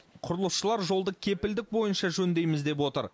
құрылысшылар жолды кепілдік бойынша жөндейміз деп отыр